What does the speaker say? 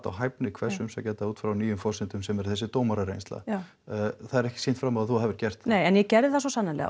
á hvern umsækjanda út frá nýjum forsendum sem eru þessi dómarareynsla það er ekki sýnt fram á að þú hafir gert en ég gerði það svo sannarlega